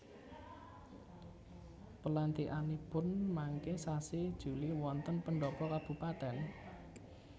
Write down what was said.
Pelantikanipun mangke sasi Juli wonten pendhopo kabupaten?